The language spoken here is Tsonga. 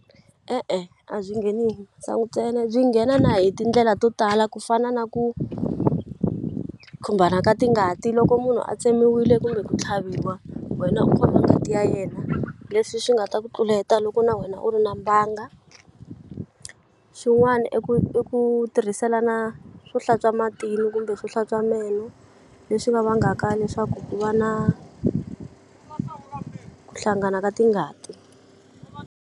E-e a byi ngheni hi sangu ntsena byi nghena na hi tindlela to tala ku fana na ku khumbana ka tingati loko munhu a tsemiwile kumbe ku tlhaviwa wena u khoma ngati ya yena leswi swi nga ta ku tluleta loko na wena u ri na mbanga xin'wani i ku i ku tirhiselana swo hlantswa matimu kumbe swo hlantswa meno leswi nga vangaka leswaku ku va na ku hlangana ka tingati.